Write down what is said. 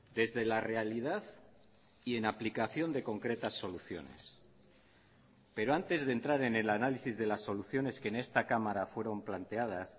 desde la realidad y en aplicación de concretas soluciones pero antes de entrar en el análisis de las soluciones que en esta cámara fueron planteadas